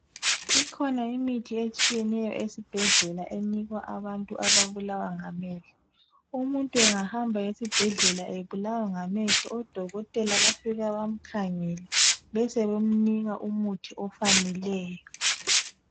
Ikhona imithi etshiyeneyo esibhedlela enikwa abantu ababulawa ngamehlo umuntu engahamba esibhedlela ebulawa ngamehlo odokotela bafika bamkhangele besebemnika umuthi ofaneleyo.